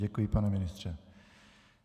Děkuji, pane ministře.